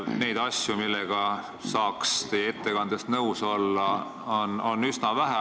Neid asju, millega saaks nõus olla, oli teie ettekandes üsna vähe.